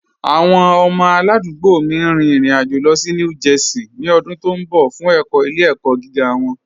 Awọn ọmọ aládùgbò mí n rìn ìrìn-àjọ̀ lọ sí New Jersey ni ọ̀dún tó nbọ̀ fun ẹkọ̀ ilẹ̀-ẹkọ̀ giga wọn